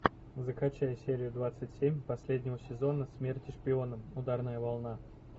закачай серию двадцать семь последнего сезона смерти шпионам ударная волна